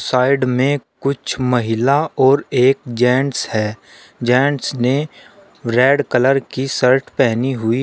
Side में कुछ महिला और एक जेंट्स है जेंट्स ने रेड कलर की शर्ट पहनी हुई है।